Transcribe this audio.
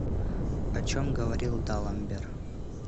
о чем говорил даламбер